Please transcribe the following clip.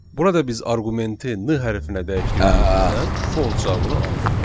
Burada biz arqumenti N hərfinə dəyişdirdiyimizdən false cavabını aldıq.